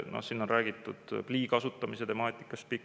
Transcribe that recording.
Noh, on räägitud pikalt plii kasutamise temaatikast.